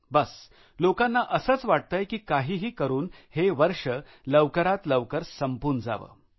बस लोकांना असंच वाटतय की काहीही करुन हे वर्ष लवकरात लवकर संपून जावं